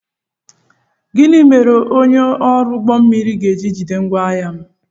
Gịnị mere onye ọrụ ụgbọ mmiri ga-eji jide ngwaahia m?